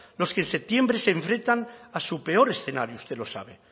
los que en septiembre se enfrentan a su peor escenario usted lo sabe